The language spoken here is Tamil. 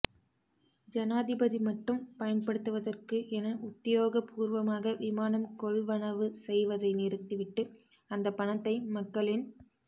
ஜனாதிபதி மட்டும் பயன்படுத்துவதற்கு என உத்தியோகபூர்வமாக விமானம் கொள்வனவு செய்வதை நிறுத்தி விட்டு அந்தப் பணத்தை மக்களின்